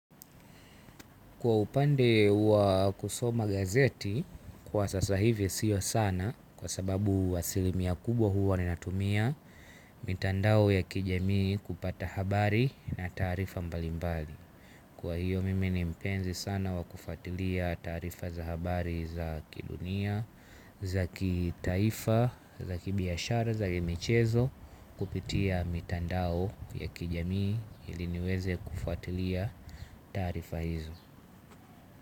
Kwa upande wa kusoma gazeti, kwa sasa hivi siyo sana kwa sababu asilimia kubwa huwa ninatumia mitandao ya kijamii kupata habari na taarifa mbalimbali. Kwa hiyo mimi ni mpenzi sana wa kufuatilia taarifa za habari za kidunia, za kitaifa, za kibiashara, za michezo kupitia mitandao ya kijamii ili niweze kufatilia taarifa hizo.